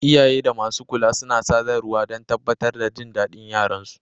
Iyaye da masu kula suna sadarwa don tabbatar da jin daɗin yaran su.